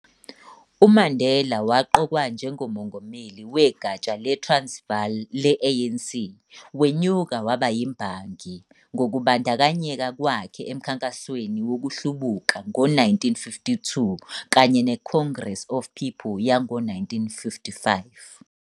UMandela waqokwa njengoMongameli wegatsha le- Transvaal le-ANC, wenyuka waba yimbangi ngokubandakanyeka kwakhe eMkhankasweni Wokuhlubuka ngo-1952 kanye neCongress of People yango -1955.